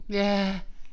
Ja